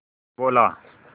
बोला